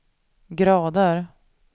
grader